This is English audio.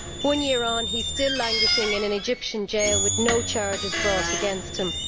One year on, he is still languishing in an Egyptian jail with no charges brought against him.